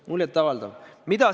Muljet avaldav!